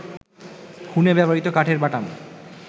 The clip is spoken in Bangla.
খুনে ব্যবহৃত কাঠের বাটাম